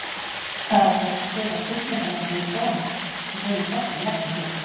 Það var þó hægt að seta spurningarmerki við Doni sem hreyfði hvorki legg né lið.